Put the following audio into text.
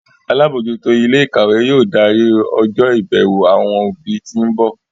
Alábòójútó ilé ìkàwé yóò darí ọjọ́ ìbẹ̀wò àwọn òbí tí ń bọ̀